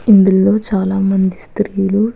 ఇందులో చాల మంది స్రీలు --